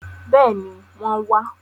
Bẹ́ẹ̀ni, wọ́n wá